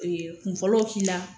Ɛɛ kun fɔlɔw k'i la.